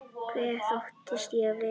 Hver þóttist ég vera?